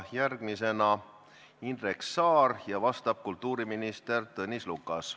Järgmisena küsib Indrek Saar ja vastab kultuuriminister Tõnis Lukas.